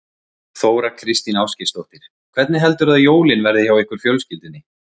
Þóra Kristín Ásgeirsdóttir: Hvernig heldurðu að jólin verði hjá ykkur fjölskyldunni?